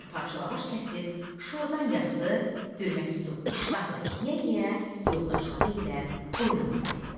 Bir parça lavaş kəsib şordan yaxdı, dürmək tutub iştahla yeyə-yeyə yoldaşları ilə oynamağa getdi.